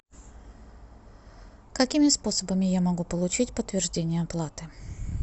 какими способами я могу получить подтверждение оплаты